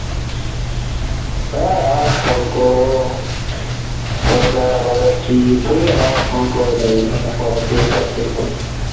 ধ্যার আবার ফোন করবো লোকে আবার বলবে কি ঠিক আছে আজ ফোন করে তিন চার দিন পর